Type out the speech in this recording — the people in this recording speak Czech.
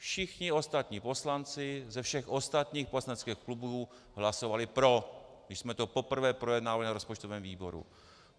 Všichni ostatní poslanci ze všech ostatních poslaneckých klubů hlasovali pro, když jsme to poprvé projednávali na rozpočtovém výboru.